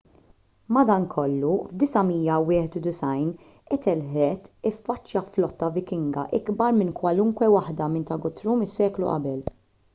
madankollu fid-991 ethelred iffaċċja flotta vikinga ikbar minn kwalunkwe waħda minn ta' guthrum is-seklu qabel